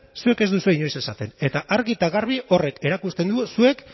zuek ez duzue inoiz esaten eta argi eta garbi horrek erakusten du zuek